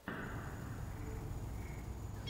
мистеркей лучший эпизод